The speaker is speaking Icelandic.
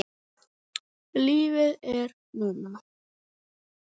Lífið er núna.